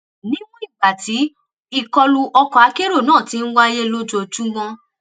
níwọn ìgbà tí ìkọlù ọkọakérò náà ti ń wáyé lójoojúmọ